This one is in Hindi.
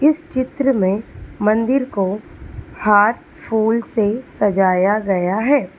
इस चित्र में मंदिर को हार फूल से सजाया गया है।